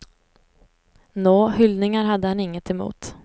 Nå, hyllningar hade han inget emot.